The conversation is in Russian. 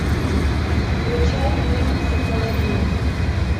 включай фильм психологини